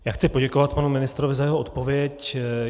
Já chci poděkovat panu ministrovi za jeho odpověď.